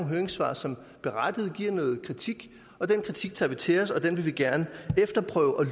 høringssvar som berettiget giver noget kritik den kritik tager vi til os og den vil vi gerne efterprøve og